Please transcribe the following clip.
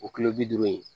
O kilo bi duuru ye